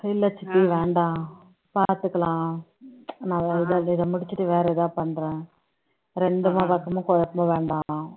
இல்ல சித்தி வேண்டாம் பாத்துக்கலாம் நான் இதை இதை முடிச்சிட்டு வேற எதாவது பண்றேன் இரண்டு பக்கமும் குழப்பம் வேண்டாம்